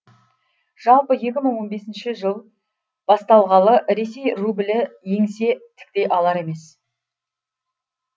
жалпы екі мың он бесінші жыл басталғалы ресей рубльі еңсе тіктей алар емес